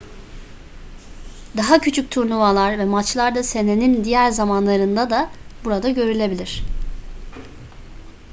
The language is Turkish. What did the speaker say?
daha küçük turnuvalar ve maçlar da senenin diğer zamanlarında da burada görülebilir